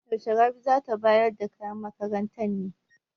Yaushe Rabi za ta bayar da kayan makaranta ne?